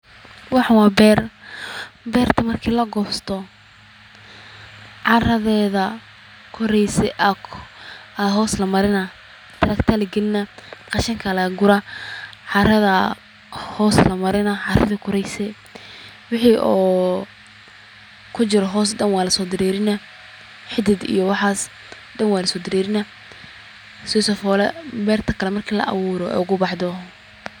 Waxan waa beer bertaa, bertaa marki lagosto, caradheda koreyse aya hoos lamarinaa taragta aya lagalinaa qashinka aya laga guraa, caradha aya hoos la marinaa, caradhi koreyse, wixii o kujiro hoos daan waa lasodarerina, xidiid iyo waxas Dan waa laso darerina, sisifula bertaa kalee marki la aburo ogu baxdo.